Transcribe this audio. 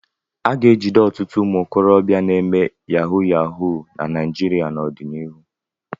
A ga-ejide ọtụtụ ụmụ okorobịa na-eme yahu yahu na Naịjịrịa n'ọdịnihu.